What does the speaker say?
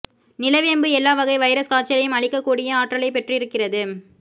நிலவேம்பு எல்லா வகை வைரஸ் காய்ச்சலையும் அழிக்கக் கூடிய ஆற்றலை பெற்றிருக்கிறது